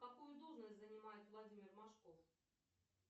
какую должность занимает владимир машков